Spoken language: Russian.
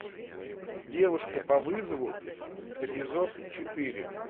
девушка по вызову эпизод четыре